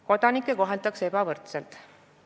Kodanikke koheldakse ebavõrdselt.